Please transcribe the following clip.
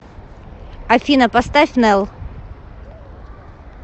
афина поставь нэл